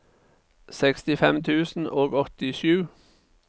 sekstifem tusen og åttisju